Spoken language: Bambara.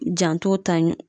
Janto ta ɲɔ